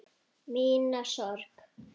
Mína sorg.